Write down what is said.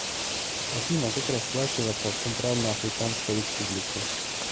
афина как расплачиваться в центральноафриканской республике